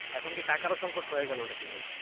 এখন কি টাকারও সংকট হয়ে গেল নাকি ভাই?